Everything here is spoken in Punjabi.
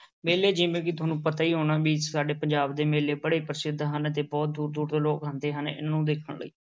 ਮੇਲੇ ਜਿਵੇਂ ਕਿ ਤੁਹਾਨੂੰ ਪਤਾ ਹੀ ਹੋਣਾ ਵੀ ਸਾਡੇ ਪੰਜਾਬ ਦੇ ਮੇਲੇ ਬੜੇ ਪ੍ਰਸਿੱਧ ਹਨ ਤੇ ਬਹੁਤ ਦੂਰ ਦੂਰ ਦੇ ਲੋਕ ਆਉਂਦੇ ਹਨ ਇਹਨੂੰ ਦੇਖਣ ਲਈ।